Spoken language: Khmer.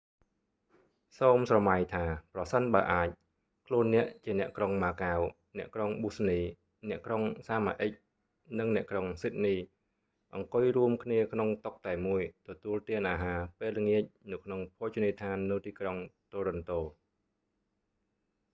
សូមស្រមៃថា ប្រសិនបើអាច ខ្លួនអ្នក ជាអ្នកក្រុងម៉ាកាវ អ្នកក្រុងប៊ូស្នី អ្នកក្រុងសាម៉ាអ៊ិក និងអ្នកក្រុងស៊ីដនី អង្គុយរួមគ្នាក្នុងតុតែមួយ ទទួលទានអាហារពេលល្អាចនៅក្នុងភោជនីយដ្ឋាននៅទីក្រុងតូរិនតូ